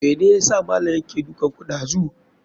Mene yasa malam yake dukanku ɗazu?